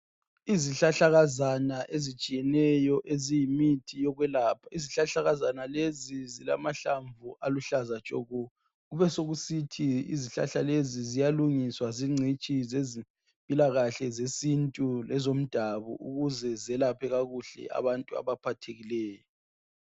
Izihlahlakazana ezitshiyeneyo eziyimithi yokwelapha izihlahlakazana lezi zilamahlamvu aluhlaza tshoko ubesokusithi izihlahlakazana ziyalungiswa zingcitshi ezempilakahle zesintu ezomdabuko ukuze zelaphe kuhle abantu abaphathekileyo